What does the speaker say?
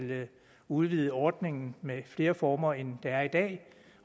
udvide ordningen med flere former end der er i dag